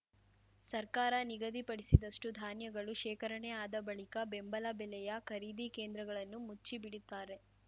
ಸರ್ಕಾರ ನಿಗದಿಪಡಿಸಿದಷ್ಟುಧಾನ್ಯಗಳು ಶೇಖರಣೆ ಆದ ಬಳಿಕ ಬೆಂಬಲ ಬೆಲೆಯ ಖರೀದಿ ಕೇಂದ್ರಗಳನ್ನು ಮುಚ್ಚಿಬಿಡುತ್ತಾರೆ